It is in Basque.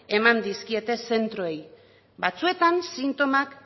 eman dizkiete zentroei batzuetan sintomak